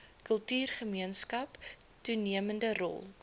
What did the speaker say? kultuurgemeenskap toenemende rol